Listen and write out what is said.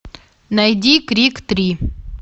найди крик три